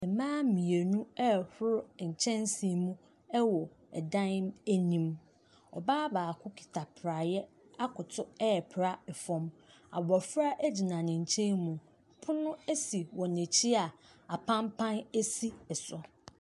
Mmaa mmienu ɛrehoro nkyɛnse mu wɔ dan anim, ɔbaa baako kita praeɛ akoto ɛrepra fam, abɔfra gyina ne nkyɛn mu. Pono si wɔn akyi a apampa si so.